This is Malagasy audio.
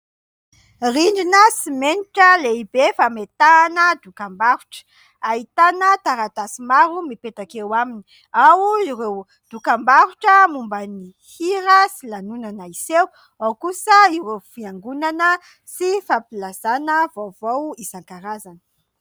Rindrina simenitra lehibe fametahana dokam-barotra : ahitana taratasy maro mipetaka eo aminy, ao ireo dokam-barotra momba ny hira sy lanonana hiseho, ao kosa ireo fiangonana sy fampilazana vaovao isankarazany.